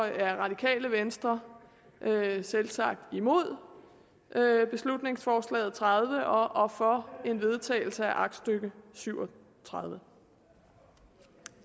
er radikale venstre selvsagt imod beslutningsforslag b tredive og for en vedtagelse af aktstykke syv og tredive